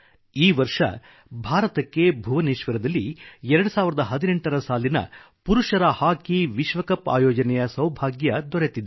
ಈ ವರ್ಷ ಭಾರತಕ್ಕೆ ಭುವನೇಶ್ವರದಲ್ಲಿ 2018 ರ ಸಾಲಿನ ಪುರುಷರ ಹಾಕಿ ವಿಶ್ವ ಕಪ್ ಆಯೋಜನೆಯ ಸೌಭಾಗ್ಯ ದೊರೆತಿದೆ